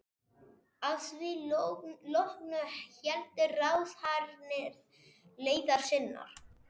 Að því loknu héldu ráðherrarnir leiðar sinnar.